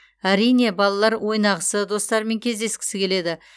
әрине балалар ойнағысы достарымен кездескісі келеді